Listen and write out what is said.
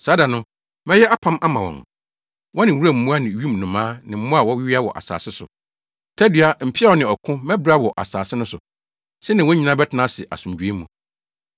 Saa da no, mɛyɛ apam ama wɔn, wɔne wuram mmoa ne wim nnomaa ne mmoa a wɔwea wɔ asase so. Tadua, mpeaw ne ɔko, mɛbra wɔ asase no so, sɛnea wɔn nyinaa bɛtena ase asomdwoe mu.